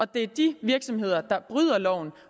det er de virksomheder der bryder loven